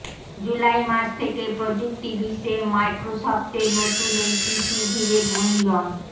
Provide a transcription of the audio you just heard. জুলাই মাস থেকেই প্রযুক্তি বিশ্বে মাইক্রোসফটের নতুন এই পিসি ঘিরে গুঞ্জন